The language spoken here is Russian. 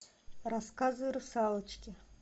рассказы русалочки